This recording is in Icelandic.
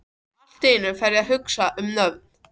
Og allt í einu fer ég að hugsa um nöfn.